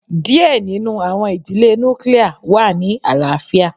díẹ̀ nínú àwọn ìdílé nuclia wà ní àlàáfíà.